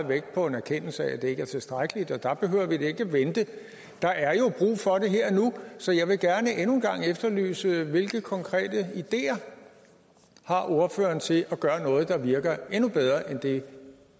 vægt på en erkendelse af at det ikke er tilstrækkeligt og der behøver vi da ikke at vente der er jo brug for det her og nu så jeg vil gerne endnu en gang efterlyse hvilke konkrete ideer ordføreren har til at gøre noget der virker endnu bedre end det